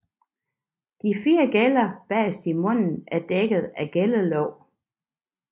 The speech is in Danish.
De fire gæller bagest i munden er dækket af gællelåg